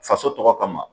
Faso tɔgɔ kama